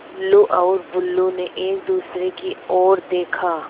टुल्लु और बुल्लु ने एक दूसरे की ओर देखा